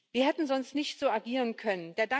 Wir hätten sonst nicht so agieren können.